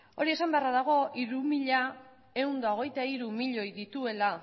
hori esanda beharra dago hiru mila ehun eta hogeita batmiloi dituela